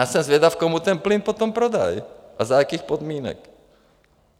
Já jsem zvědav, komu ten plyn potom prodají a za jakých podmínek.